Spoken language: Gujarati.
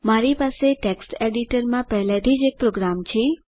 મારી પાસે ટેક્સ્ટ એડિટરમાં પહેલેથી જ એક પ્રોગ્રામ છે